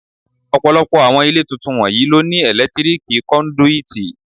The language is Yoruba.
Ọ̀pọ̀lọpọ̀ àwọn ilé tuntun wọ̀nyí ló ní ẹ̀lẹ́tíríkì kọ́ndúítí.